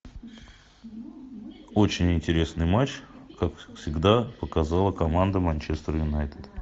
очень интересный матч как всегда показала команда манчестер юнайтед